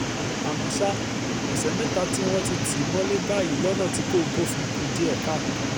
àmọ́ ṣá ọ̀sẹ̀ mẹ́ta tí wọ́n ti tì í mọ́lẹ̀ báyìí lọ́nà tí kò bófin kù díẹ̀ káàtó